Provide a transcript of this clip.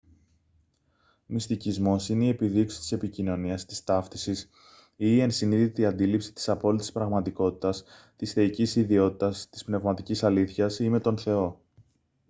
μυστικισμός είναι η επιδίωξη της επικοινωνίας της ταύτισης ή η ενσυνείδητη αντίληψη της απόλυτης πραγματικότητας της θεϊκής ιδιότητας της πνευματικής αλήθειας ή με τον θεό